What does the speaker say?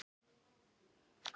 Getum við bætt okkar orðfæri?